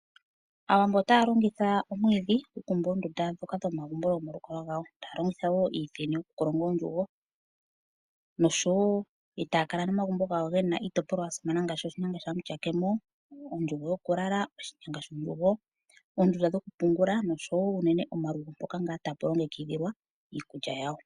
Aawambo otaa longitha omwiidhi okukumba oondunda ndhoka dhomalukalwa gawo. Taya longitha wo iithini okukolonga oondjugo, nosho wo e taa kala nomagumbo gawo ge na iitopolwa ya simana ngaashi oshinyanga shaMutyakemo, ondjugo yokulala, oshinyanga shondjugo, oondunda dhokupungula nosho wo unene omalugo mpoka tapu longekidhilwa iikulya yawo.